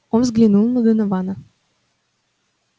он взглянул на донована